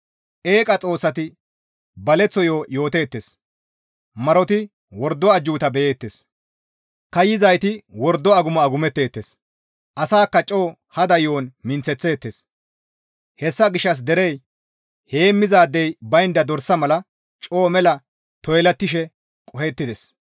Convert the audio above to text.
Eeqa xoossati baleththo yo7o yooteettes; Maroti wordo ajjuuta beyeettes; kaayizayti wordo agumo agumetteettes; asakka coo hada yo7on minththeththeettes; hessa gishshas derey heemmizaadey baynda dorsa mala coo mela toylattishe qohettides.